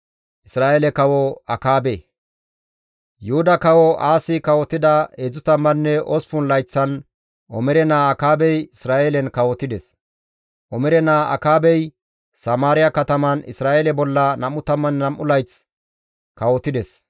Yuhuda kawo Aasi kawotida 38 layththan Omire naa Akaabey Isra7eelen kawotides; Omire naa Akaabey Samaariya kataman Isra7eele bolla 22 layth kawotides.